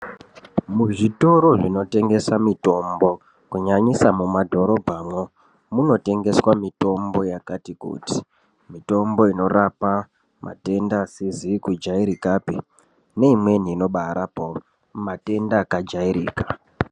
Muzvitoro zvinotengeswa mitombo kunyanyisa mumadhorobhamwo munotengeswa mitombo yakati kuti mitombo inorapa matenda akati kuti asizi kujairika neamweni akajairaka.